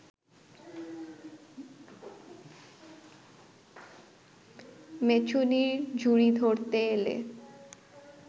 মেছুনীর ঝুড়ি ধরতে এলে